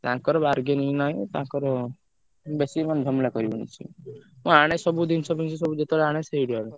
ତାଙ୍କର bargaining ନାହିଁ, ତାଙ୍କର ବେଶୀ ମାନେ ଝାମଲା କରିବନି ସିଏ ମୁଁ ଆଣେ ସବୁ ଜିନିଷ ଫିନିଶ ସବୁ ଯେତବେଳେ ଆଣେ ସେଇଠୁ ଆଣେ।